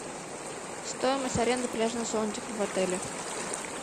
стоимость аренды пляжного зонтика в отеле